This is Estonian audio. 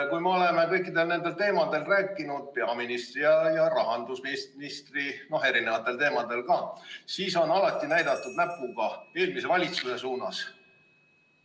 Kui me oleme kõikidel nendel teemadel rääkinud peaministri ja rahandusministriga – on ka teisi teemasid –, siis on alati näidatud näpuga eelmise valitsuse suunas.